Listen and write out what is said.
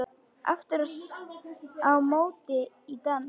Aftur á móti í dansi.